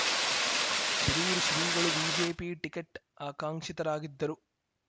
ಶಿರೂರು ಶ್ರೀಗಳು BJP ticket ಆಕಾಂಕ್ಷಿತರಾಗಿದ್ದರು